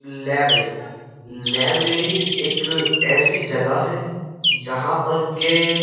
library library एक ऐसी जगह है जहाँ पर के' --